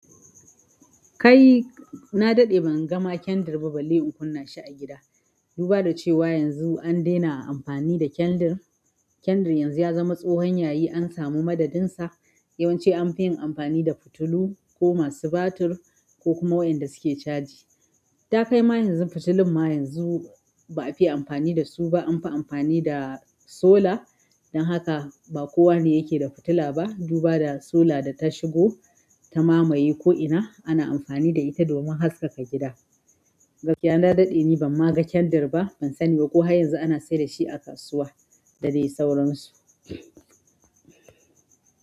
Kai na daɗe ban ga ma kendir ba, balle in kunna shi a gida. Duba da cewa yanzu an daina amfani da kendir. Kendir yanzu ya zama tsohon yayi, an samu madadin sa. Yawanci anfi yin amfani da fitilu, ko masu batir, ko kuma wayanda suke caji. Ta kai ma yanzu fitilun ma yanzu ba'a fi ya amfani da su ba, an fi amfani da sola. Dan haka ba kowane yake da fitila ba. Duba da sola da ta shigo ta mamaye ko'ina, ana amfani da ita domin haskaka gida. Gaskiya na daɗe ni ban ma ga kendir ba, ban sani ba ko har yanzu ana sayar da shi a kasuwa da dai sauran su.